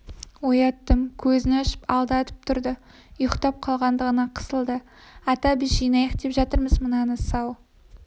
ояттым көзін ашып алды атып тұрды ұйықтап қалғандығына қысылды ата біз жинайық деп жатырмыз мынаны сау